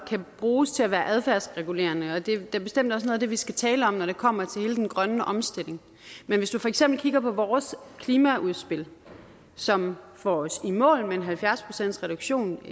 kan bruges til at være adfærdsregulerende og det er da bestemt også noget af det vi skal tale om når det kommer til hele den grønne omstilling men hvis du for eksempel kigger på vores klimaudspil som får os i mål med halvfjerds procent reduktion